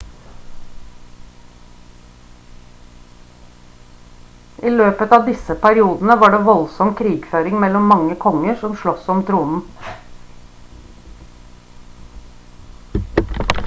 i løpet av disse periodene var det voldsom krigføring mellom mange konger som slåss om tronen